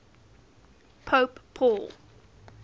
pope paul